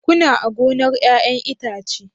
Kuna a gonar 'ya'yan itace?